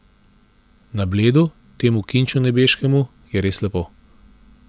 Na Bledu, temu kinču nebeškemu, je res lepo!